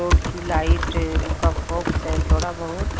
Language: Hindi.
रोड की लाइट का फोकस है थोड़ा बहुत--